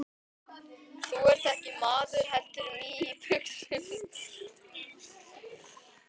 Þú ert ekki maður heldur mý í buxum.